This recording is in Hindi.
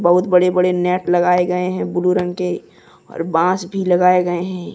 बहुत बड़े बड़े नेट लगाए गए है ब्ल्यू रंग के और बांस भी लगाए गए है।